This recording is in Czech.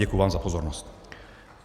Děkuji vám za pozornost.